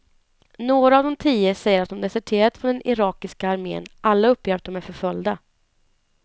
Några av de tio säger att de deserterat från den irakiska armen, alla uppger att de är förföljda.